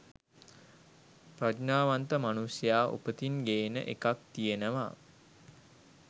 ප්‍රඥාවන්ත මනුෂ්‍යයා උපතින් ගේන එකක් තියෙනවා